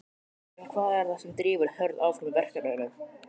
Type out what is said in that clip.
En hvað er það sem drífur Hörð áfram í verkefninu?